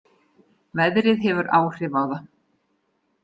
Veðrið hefur áhrif á það